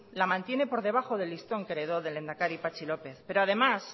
la mantiene por debajo del listón que heredó del lehendakari patxi lópez pero además